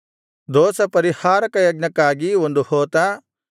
ದೋಷಪರಿಹಾರಕ ಯಜ್ಞಕ್ಕಾಗಿ ಒಂದು ಹೋತ